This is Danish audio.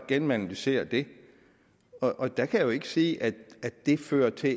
gennemanalyserer det og der kan jeg jo ikke sige at det fører til